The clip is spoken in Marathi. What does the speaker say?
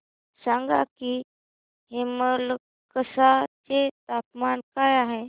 सांगा की हेमलकसा चे तापमान काय आहे